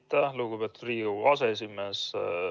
Aitäh, lugupeetud Riigikogu aseesimees!